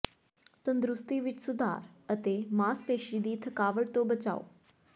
ਤੰਦਰੁਸਤੀ ਵਿੱਚ ਸੁਧਾਰ ਅਤੇ ਮਾਸਪੇਸ਼ੀ ਦੀ ਥਕਾਵਟ ਤੋਂ ਬਚਾਓ